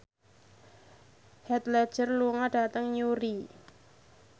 Heath Ledger lunga dhateng Newry